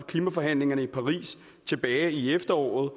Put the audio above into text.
klimaforhandlingerne i paris tilbage i efteråret